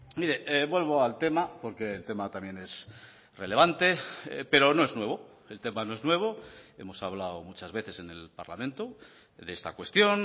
mire vuelvo al tema porque el tema también es relevante pero no es nuevo el tema no es nuevo hemos hablado muchas veces en el parlamento de esta cuestión